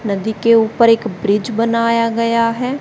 नदी के ऊपर एक ब्रिज बनाया गया है।